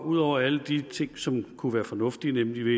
ud over alle de ting som kunne være fornuftige nemlig